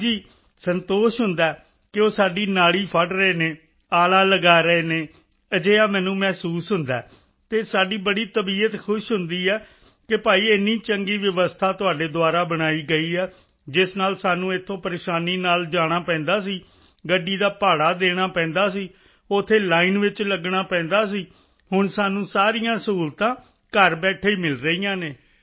ਹਾਂ ਸੰਤੋਸ਼ ਹੁੰਦਾ ਹੈ ਕਿ ਉਹ ਸਾਡੀ ਨਾੜੀ ਫੜ੍ਹ ਰਹੇ ਹਨ ਆਲਾ ਲਗਾ ਰਹੇ ਹਨ ਅਜਿਹਾ ਮੈਨੂੰ ਮਹਿਸੂਸ ਹੁੰਦਾ ਹੈ ਅਤੇ ਸਾਡੀ ਬੜੀ ਤਬੀਅਤ ਖੁਸ਼ ਹੁੰਦੀ ਹੈ ਕਿ ਭਾਈ ਇੰਨੀ ਚੰਗੀ ਵਿਵਸਥਾ ਤੁਹਾਡੇ ਦੁਆਰਾ ਬਣਾਈ ਗਈ ਹੈ ਜਿਸ ਨਾਲ ਸਾਨੂੰ ਇੱਥੋਂ ਪਰੇਸ਼ਾਨੀ ਨਾਲ ਜਾਣਾ ਪੈਂਦਾ ਸੀ ਗੱਡੀ ਦਾ ਭਾੜਾ ਦੇਣਾ ਪੈਂਦਾ ਸੀ ਉੱਥੇ ਲਾਈਨ ਵਿੱਚ ਲੱਗਣਾ ਪੈਂਦਾ ਸੀ ਹੁਣ ਸਾਨੂੰ ਸਾਰੀਆਂ ਸਹੂਲਤਾਂ ਘਰ ਬੈਠੇ ਹੀ ਮਿਲ ਰਹੀਆਂ ਹਨ